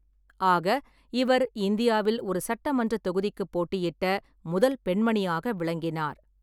ஆக, இவர் இந்தியாவில் ஒரு சட்டமன்றத் தொகுதிக்குப் போட்டியிட்ட முதல் பெண்மணியாக விளங்கினார்.